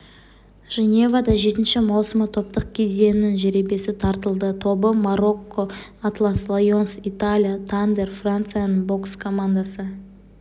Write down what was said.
женевада жетінші маусымы топтық кезеңінің жеребесі тартылды тобы марокко атлас лайонс италия тандер францияның бокс командасы